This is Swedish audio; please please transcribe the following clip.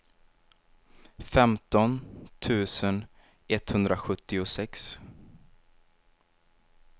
femton tusen etthundrasjuttiosex